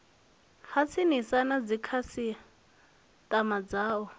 ha tsinisa na dzikhasiama dzao